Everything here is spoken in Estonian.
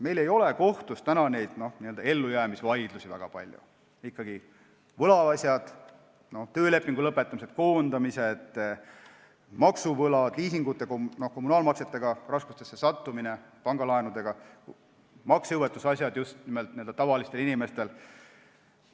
Meil ei ole kohtus väga palju n-ö ellujäämisvaidlusi, nagu võlaasjad, töölepingute lõpetamised, koondamised, maksuvõlad, liisingute, kommunaalmaksete, pangalaenudega raskustesse sattumised, maksejõuetuse asjad, mis on just nimelt n-ö tavalistel inimestel.